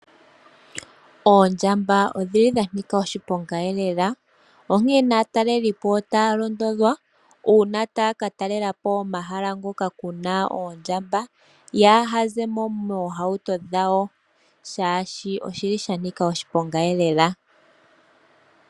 Oondjamba odhi li dhanika oshiponga elela, onkene aatalelipo otaya londodhwa, uuna taya katalelapo omahala ngoko kuna oondjamba, yaaha zemo moohauto dhawo, shaashi oshi li shanika oshiponga elela.